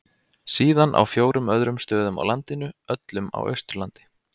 Síðan á fjórum öðrum stöðum á landinu, öllum á Austurlandi.